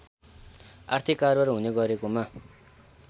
आर्थिक कारोवार हुने गरेकोमा